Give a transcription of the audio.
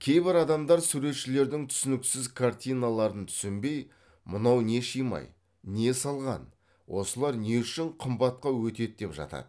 кейбір адамдар суретшілердің түсініксіз картиналарын түсінбей мынау не шимай не салған осылар не үшін қымбатқа өтеді деп жатады